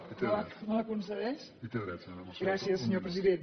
me la concedeix gràcies senyor president